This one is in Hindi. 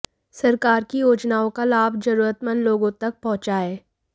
सरकार की योजनाओं का लाभ जरूरतमंद लोगों तक पहुंॅचाएं